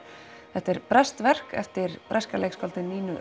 þetta er breskt verk eftir breska leikskáldið Nínu